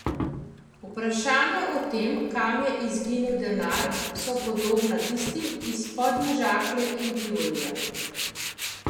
Vprašanja o tem, kam je izginil denar, so podobna tistim iz Podmežakle in Tivolija.